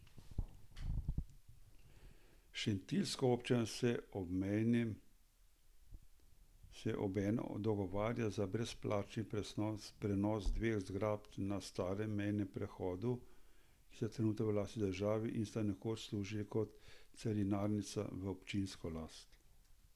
Šentiljska občina se obenem dogovarja za brezplačni prenos dveh zgradb na starem mejnem prehodu, ki sta trenutno v lasti države in sta nekoč služili kot carinarnica, v občinsko last.